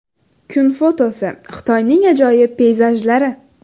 Kun fotosi: Xitoyning ajoyib peyzajlari.